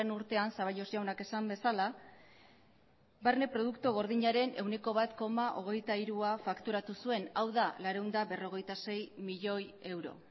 urtean zaballos jaunak esan bezala barne produktu gordinaren ehuneko bat koma hogeita hirua fakturatu zuen hau da zortziehun eta berrogeita sei milioi euro